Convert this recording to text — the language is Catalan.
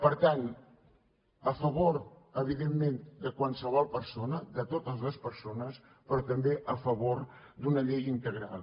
per tant a favor evidentment de qualsevol persona de totes les persones però també a favor d’una llei integral